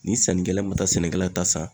Ni sannikɛla ma taa sɛnɛkɛla ta san